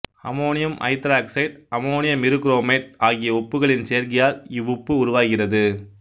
ammonium hydroxide அமோனியமிரு chromate ஆகிய உப்புகளின் சேர்க்கையால் இவ்வுப்பு உருவாகிறது